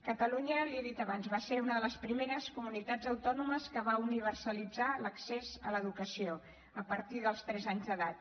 catalunya l’hi he dit abans va ser una de les primeres comunitats autònomes que va universalitzar l’accés a l’educació a partir dels tres anys d’edat